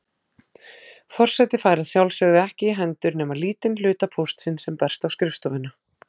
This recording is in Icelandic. Forseti fær að sjálfsögðu ekki í hendur nema lítinn hluta póstsins sem berst á skrifstofuna.